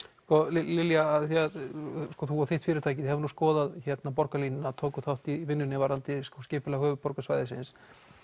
Lilja þú og þitt fyrirtæki hafið skoðað borgarlínuna og tókuð þátt í vinnunni varðandi skipulag höfuðborgarsvæðisins